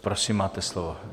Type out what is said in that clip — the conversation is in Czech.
Prosím, máte slovo.